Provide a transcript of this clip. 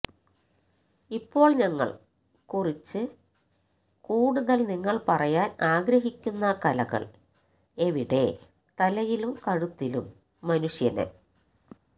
ഇപ്പോൾ ഞങ്ങൾ കുറിച്ച് കൂടുതൽ നിങ്ങൾ പറയാൻ ആഗ്രഹിക്കുന്ന കലകൾ എവിടെ തലയിലും കഴുത്തിലും ന് മനുഷ്യനെ